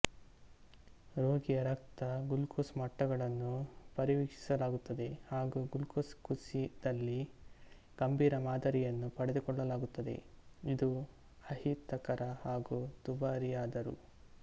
ರೋಗಿಯ ರಕ್ತ ಗ್ಲುಕೋಸ್ ಮಟ್ಟಗಳನ್ನು ಪರಿವೀಕ್ಷಿಸಲಾಗುತ್ತದೆ ಹಾಗೂ ಗ್ಲುಕೋಸ್ ಕುಸಿದಲ್ಲಿ ಗಂಭೀರ ಮಾದರಿಯನ್ನು ಪಡೆದುಕೊಳ್ಳಲಾಗುತ್ತದೆ ಇದು ಅಹಿತಕರ ಹಾಗೂ ದುಬಾರಿಯಾದರೂ